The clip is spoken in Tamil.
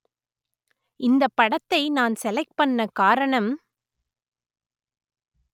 இந்தப் படத்தை நான் செலக்ட் பண்ண காரணம்